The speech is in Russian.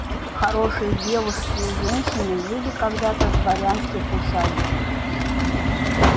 хорошие девушки и женщины жили когда-то в дворянских усадьбах